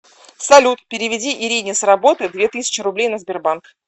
салют переведи ирине с работы две тысячи рублей на сбербанк